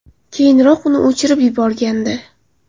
Keyinroq uni o‘chirib yuborgandi.